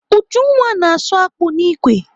Ujunwa na-asụ akpụ n'ikwe.